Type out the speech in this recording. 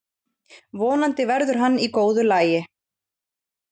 Vonandi verður hann í góðu lagi.